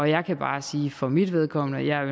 jeg kan bare sige for mit vedkommende at jeg i